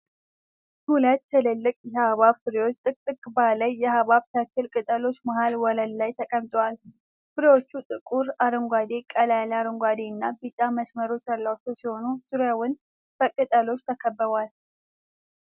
ሁለት ትልልቅ የሐብሐብ ፍሬዎች ጥቅጥቅ ባለ የሐብሐብ ተክል ቅጠሎች መሀል ወለል ላይ ተቀምጠዋል። ፍሬዎቹ ጥቁር አረንጓዴ፣ ቀላ ያለ አረንጓዴ እና ብጫ መስመሮች ያሏቸው ሲሆን፣ ዙሪያውን በቅጠሎች ተከበዋል።